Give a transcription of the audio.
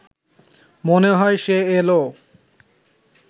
মনে হয় সে এলো